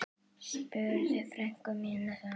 spurði frænka mín þá.